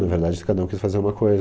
Na verdade, cada um quis fazer uma coisa.